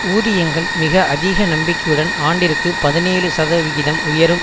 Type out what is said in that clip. ஊதியங்கள் மிக அதிக நம்பிக்கையுடன் ஆண்டிற்கு பதினேழு சதவிகிதம் உயரும்